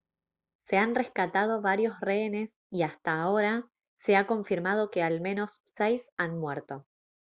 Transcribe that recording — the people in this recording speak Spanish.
se han rescatado varios rehenes y hasta ahora se ha confirmado que al menos seis han muerto